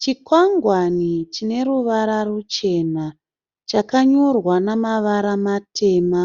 Chikwangwani chine ruvara ruchena. Chakanyorwa namavara matema